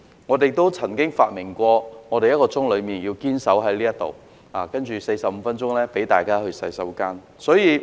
我們亦曾發明在此堅守45分鐘，接着的15分鐘可讓大家上洗手間的對策。